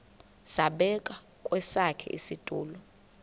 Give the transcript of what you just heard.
zabekwa kwesakhe isitulo